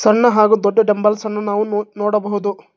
ಸಣ್ಣ ಹಾಗು ದೊಡ್ಡ ಡಂಬಲ್ಸ್ ಅನ್ನು ನಾವು ನೋಡಬಹುದು.